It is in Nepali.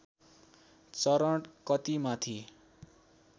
चरण कति माथि